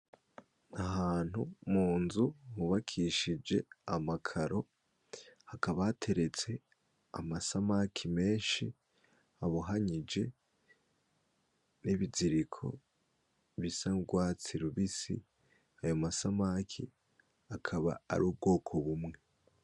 Ahantu munzu hubakishije amakaro, hakaba hateretse amasamaki menshi abohanyije n’ibizoriko bisa n’urwatsi rubisi ,ayo masamaki akaba ari ubwoko bumwe.